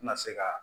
Tɛna se ka